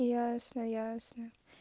ясно ясно